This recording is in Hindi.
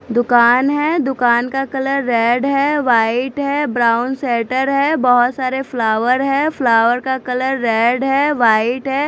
दुकान है दुकान का कलर रेड है वाइट है ब्राउन सेटर है बहोत सारे फ़्लावर है फ़्लावर का कलर रेड है वाइट है।